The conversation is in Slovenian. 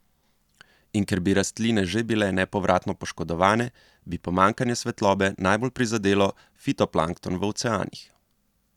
In ker bi rastline že bile nepovratno poškodovane, bi pomanjkanje svetlobe najbolj prizadelo fitoplankton v oceanih.